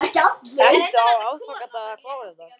Ertu á aðfangadag að klára þetta?